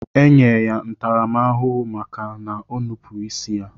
Enye ya ntarama ahuhu maka nnupu isi ya.